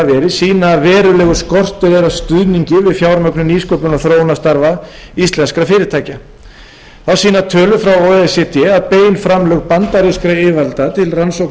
sýna að verulegur skortur er á stuðningi við fjármögnun nýsköpunar og þróunarstarfa íslenskra fyrirtækja þá sýna tölur frá o e c d að bein framlög bandarískra yfirvalda til rannsókna og